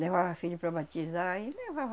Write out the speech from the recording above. Levava filho para batizar, aí levava